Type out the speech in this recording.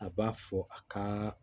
A b'a fɔ a ka